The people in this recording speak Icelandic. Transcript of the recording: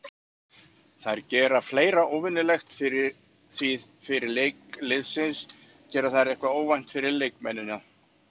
Þær gera fleira óvenjulegt því fyrir leiki liðsins gera þær eitthvað óvænt fyrir leikmennina.